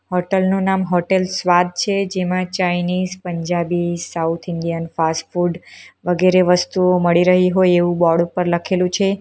Hotel નું નામ hotel Swad છે જેમાં Chinese Punjabi south Indian fast food વગેરે વસ્તુઓ મળી રહી હોય એવું બોર્ડ ઉપર લખેલું છે.